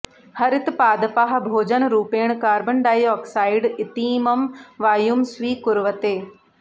हरितपादपाः भोजनरूपेण carbon dioxide इतीमं वायुं स्वीकुर्वते